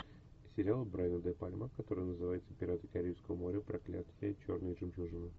сериал брайана де пальма который называется пираты карибского моря проклятие черной жемчужины